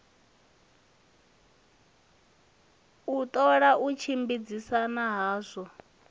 u ṱola u tshimbidzana hadzo